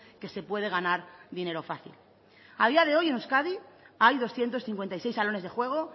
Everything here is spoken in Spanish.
que se puede ganar dinero fácil a día de hoy en euskadi hay doscientos cincuenta y seis salones de juego